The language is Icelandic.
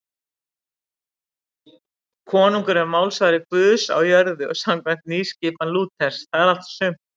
Konungur er málsvari Guðs á jörðu samkvæmt nýskipan Lúters, það er allt og sumt.